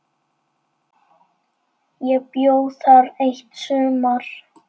Ég bjó þar eitt sumar.